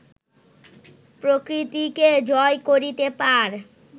প্রকৃতিকে জয় করিতে পার